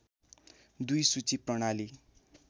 २ सूची प्रणाली